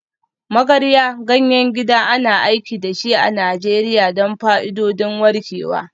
Magarya, ganyen gida, ana aiki da shi a Najeriya don fa'idodin warkewa.